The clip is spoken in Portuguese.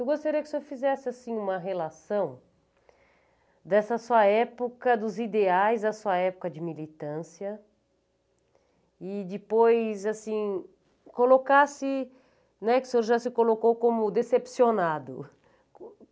Eu gostaria que o senhor fizesse, assim, uma relação dessa sua época, dos ideais da sua época de militância, e depois, assim, colocasse, né, que o senhor já se colocou como decepcionado.